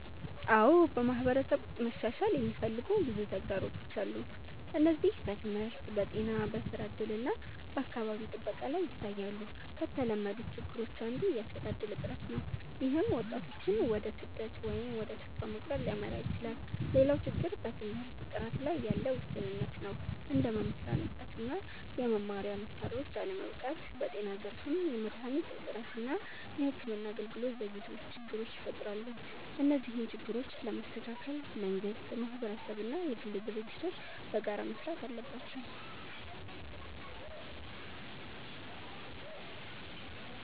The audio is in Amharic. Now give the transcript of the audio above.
አዎ፣ በማህበረሰብ ውስጥ መሻሻል የሚፈልጉ ብዙ ተግዳሮቶች አሉ። እነዚህ በትምህርት፣ በጤና፣ በስራ እድል እና በአካባቢ ጥበቃ ላይ ይታያሉ። ከተለመዱት ችግሮች አንዱ የስራ እድል እጥረት ነው፣ ይህም ወጣቶችን ወደ ስደት ወይም ወደ ተስፋ መቁረጥ ሊያመራ ይችላል። ሌላው ችግር በትምህርት ጥራት ላይ ያለ ውስንነት ነው፣ እንደ መምህራን እጥረት እና የመማሪያ መሳሪያዎች አለመበቃት። በጤና ዘርፍም የመድሃኒት እጥረት እና የሕክምና አገልግሎት ዘግይቶች ችግር ይፈጥራሉ። እነዚህን ችግሮች ለመስተካከል መንግስት፣ ማህበረሰብ እና የግል ድርጅቶች በጋራ መስራት አለባቸው።